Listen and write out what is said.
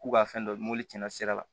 K'u ka fɛn dɔ mɔ cɛncɛrɛ la